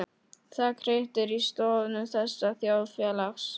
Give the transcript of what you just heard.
Það hriktir í stoðum þessa þjóðfélags.